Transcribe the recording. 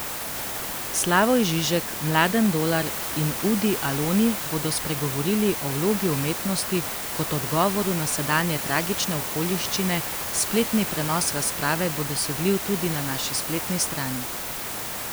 Slavoj Žižek, Mladen Dolar in Udi Aloni bodo spregovorili o vlogi umetnosti kot odgovoru na sedanje tragične okoliščine, spletni prenos razprave bo dosegljiv tudi na naši spletni strani.